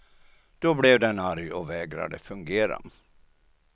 Då blev den arg och vägrade fungera.